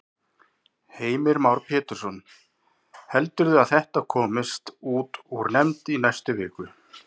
Heimir Már Pétursson: Heldurðu að þetta komist út úr nefnd í næstu viku?